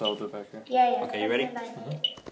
Já, já, hvernig læt ég!